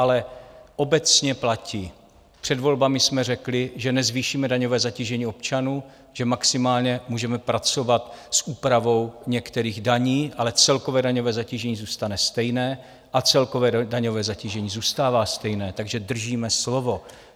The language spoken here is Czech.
Ale obecně platí, před volbami jsme řekli, že nezvýšíme daňové zatížení občanů, že maximálně můžeme pracovat s úpravou některých daní, ale celkové daňové zatížení zůstane stejné, a celkové daňové zatížení zůstává stejné, takže držíme slovo.